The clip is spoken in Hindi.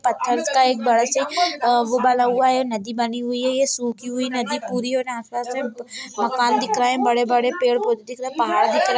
पत्थर का एक बड़ा सा वो बना हुआ है नदी बनी हुई है ये सूखी हुई नदी पूरी हुई आसपास मकान दिख रह है बड़े-बड़े पेड़ पौधे पहाड़ दिख रहा है।